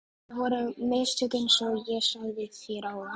Það voru mistök einsog ég sagði þér áðan.